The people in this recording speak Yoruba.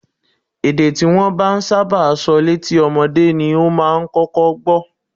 Èdè tí wọ́n bá ń sábà sọ létí ọmọdé ni ó máa kọ́kọ́ gbọ́